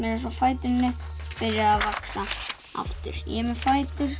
eins og fæturnir byrjuðu að vaxa aftur ég er með fætur